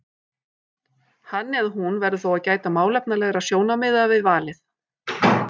Hann eða hún verður þó að gæta málefnalegra sjónarmiða við valið.